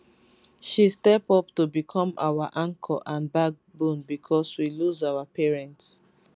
she step up to become our anchor and backbone becos we lose our parents